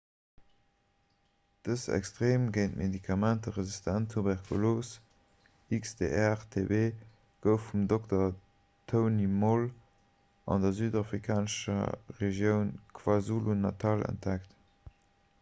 dës extreem géint medikamenter resistent tuberkulos xdr-tb gouf vum dr. tony moll an der südafrikanescher regioun kwazulu-natal entdeckt